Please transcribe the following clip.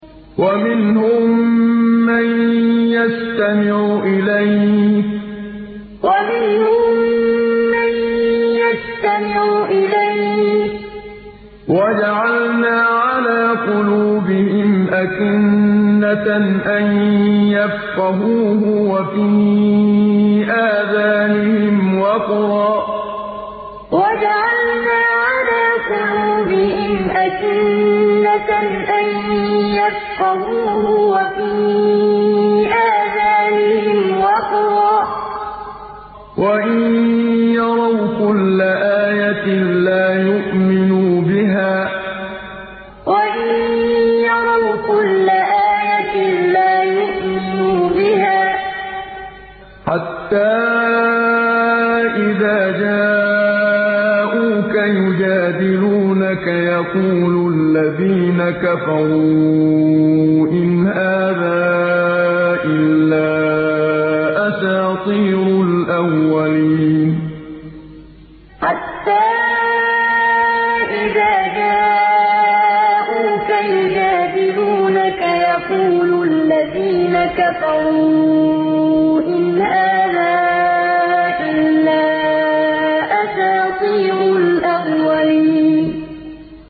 وَمِنْهُم مَّن يَسْتَمِعُ إِلَيْكَ ۖ وَجَعَلْنَا عَلَىٰ قُلُوبِهِمْ أَكِنَّةً أَن يَفْقَهُوهُ وَفِي آذَانِهِمْ وَقْرًا ۚ وَإِن يَرَوْا كُلَّ آيَةٍ لَّا يُؤْمِنُوا بِهَا ۚ حَتَّىٰ إِذَا جَاءُوكَ يُجَادِلُونَكَ يَقُولُ الَّذِينَ كَفَرُوا إِنْ هَٰذَا إِلَّا أَسَاطِيرُ الْأَوَّلِينَ وَمِنْهُم مَّن يَسْتَمِعُ إِلَيْكَ ۖ وَجَعَلْنَا عَلَىٰ قُلُوبِهِمْ أَكِنَّةً أَن يَفْقَهُوهُ وَفِي آذَانِهِمْ وَقْرًا ۚ وَإِن يَرَوْا كُلَّ آيَةٍ لَّا يُؤْمِنُوا بِهَا ۚ حَتَّىٰ إِذَا جَاءُوكَ يُجَادِلُونَكَ يَقُولُ الَّذِينَ كَفَرُوا إِنْ هَٰذَا إِلَّا أَسَاطِيرُ الْأَوَّلِينَ